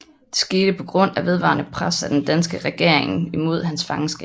Det skete på grund af vedvarende pres af den danske regering imod hans fangeskab